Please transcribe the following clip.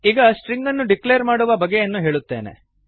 ಈಗ ಸ್ಟ್ರಿಂಗ್ ಅನ್ನು ಡಿಕ್ಲೇರ್ ಮಾಡುವ ಬಗೆಯನ್ನು ಹೇಳುತ್ತೇನೆ